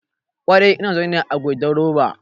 Ƙwarai ina zaune ne a goidan roba